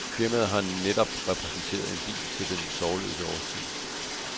Firmaet har netop præsenteret en bil til den sorgløse årstid.